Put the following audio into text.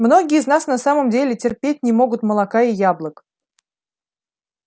многие из нас на самом деле терпеть не могут молока и яблок